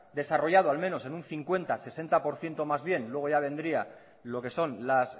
desarrollado al menos en un cincuenta sesenta por ciento más bien luego ya vendría lo que son las